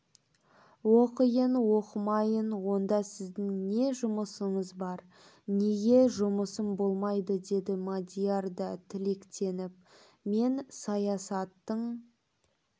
оқиын оқымайын онда сіздің не жұмысыңыз бар неге жұмысым болмайды деді мадияр да тікеленіп мен саясаттың